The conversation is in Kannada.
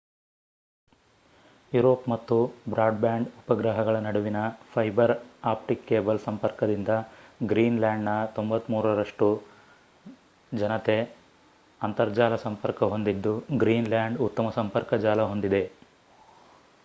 ಯುರೋಪ್ ಮತ್ತು ಬ್ರಾಡ್ ಬ್ಯಾಂಡ್ ಉಪಗ್ರಹಗಳ ನಡುವಿನ ಫೈಬರ್ ಆಪ್ಟಿಕ್ ಕೇಬಲ್ ಸಂಪರ್ಕದಿಂದ ಗ್ರೀನ್ ಲ್ಯಾಂಡ್ ನ 93% ನಷ್ಟು ಜನತೆ ಅಂತರ್ಜಾಲ ಸಂಪರ್ಕ ಹೊಂದಿದ್ದು ಗ್ರೀನ್ ಲ್ಯಾಂಡ್ ಉತ್ತಮ ಸಂಪರ್ಕ ಜಾಲ ಹೊಂದಿದೆ